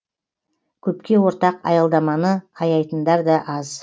көпке ортақ аялдаманы аяйтындар да аз